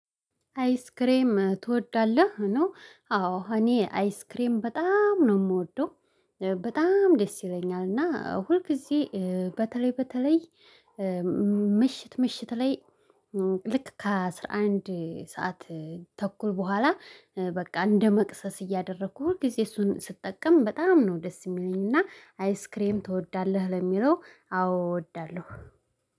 አይስክሬም ትወዳለህ? ነው አዎ እኔ አይስክሬም በጣም ነው የምወደው በጣም ደስ ይለኛል እና ሁል ጊዜ በተለይ በተለይ ምሽት ምሽት ላይ ልክ ከአሥራ አንድ ሰዓት ተኩል በኋላ በቃ እንደመቅሰስ እያደረኩ ሁልጊዜ እሱን ስትጠቀም በጣም ነው ደስ የሚለኝ እና አይስክሬም ትወዳለህ? ለሚለው አዎ እወዳለሁ።